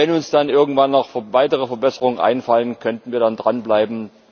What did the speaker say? Und wenn uns dann irgendwann noch weitere Verbesserungen einfallen, könnten wir dranbleiben.